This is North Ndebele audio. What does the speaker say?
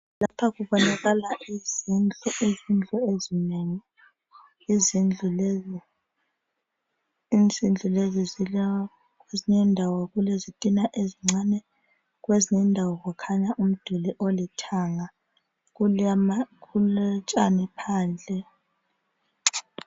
Lapha kubonakala izindlu. Izindlu ezinengi. Izindlu lezi zilendawo okulezitina ezincane kwezinye indawo kukhanya umduli olithanga. Kulotshani phandle.